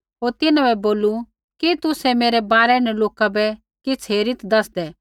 होर तिन्हां बै बोलू कि तुसै मेरै बारै न लोका बै किछ़ हेरीत् दैसदै